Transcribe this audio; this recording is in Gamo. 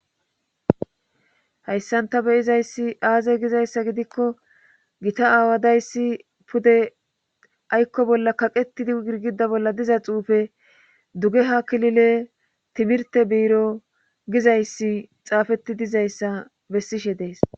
hayssanta be'izayssi aaze gizayssa gidikko gita aawa dayssi pude aykko bolla kaqetidi girgida bolla diza xuufe duge ha kilile timirte biiro gizayssi xaafeti dizayssa besishe dees